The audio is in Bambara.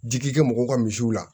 Jigi kɛ mɔgɔw ka misiw la